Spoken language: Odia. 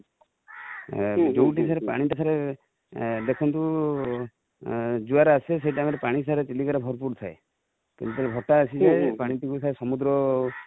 ଯୋଉଠି sir ପଣି sir ଦେଖନ୍ତୁ ଜୁଆର ଆସେ ସେଇ time ଟିଆର ପାଣି sir ଚିଲିକା ରେ ଭରପୁର ଥାଏ କିନ୍ତୁ ଯେବେ ଭଟ୍ଟା ଆସିଯାଏ ପାଣି ସବୁ sir ସମୁଦ୍ର